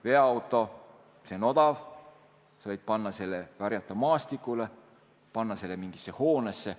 Veoauto on odav, sa võid panna selle karjata maastikule, panna selle mingisse hoonesse.